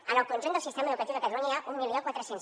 en el conjunt del sistema educatiu de catalunya hi ha mil quatre cents